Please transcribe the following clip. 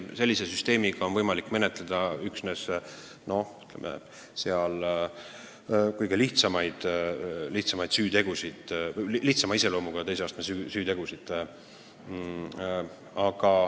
Sellise süsteemi kohaselt on võimalik menetleda üksnes kõige lihtsama iseloomuga teise astme süütegusid.